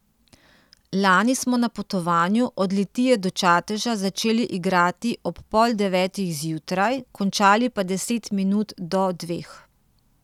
Lani smo na Potovanju od Litije do Čateža začeli igrati ob pol devetih zjutraj, končali pa deset minut do dveh.